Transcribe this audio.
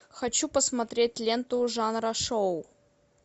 хочу посмотреть ленту жанра шоу